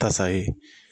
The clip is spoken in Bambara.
Tasa ye